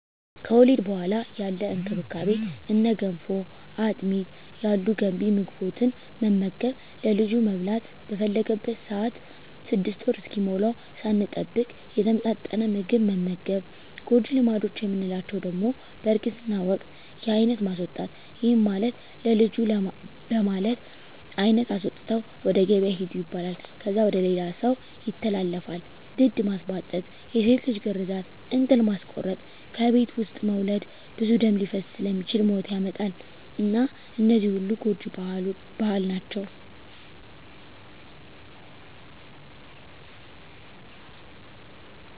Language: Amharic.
ከወሊድ በኋላ ያለ እንክብካቤ እነ ገንፎ፣ አጥሚት ያሉ ገንቢ ምግቦትን መመገብ፣ ለልጁ መብላት በፈለገበት ሰአት 6 ወር እስኪሞላዉ ሳንጠብቅ የተመጣጠነ ምግብ መመገብ። ጎጂ ልማዶች የምንላቸዉ ደሞ በእርግዝና ወቅት የአይነት ማስወጣት ይህም ማለት ለልጁ በማለት አይነት አስወጥተዉ ወደ ገበያ ሂዱ ይባላል። ከዛ ወደ ሌላ ሰዉ ይተላለፋል፣ ድድ ማስቧጠጥ፣ የሴት ልጅ ግርዛት፣ እንጥል ማስቆረጥ፣ ከቤት ዉስጥ መዉለድ ብዙ ደም ሊፈስ ስለሚችል ሞት ያመጣል እና እነዚህ ሁሉ ጎጂ ባህል ናቸዉ።